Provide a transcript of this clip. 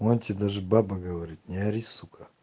у анти даже баба говорит не ори сука